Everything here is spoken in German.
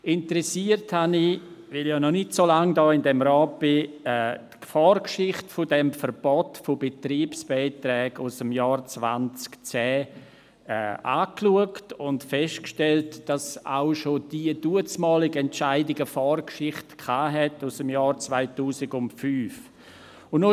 Weil ich ja noch nicht so lange in diesem Rat bin, habe ich interessiert die Vorgeschichte dieses Verbots von Betriebsbeiträgen aus dem Jahr 2010 angeschaut und festgestellt, dass auch bereits die damalige Entscheidung eine Vorgeschichte aus dem Jahr 2005 gehabt hatte.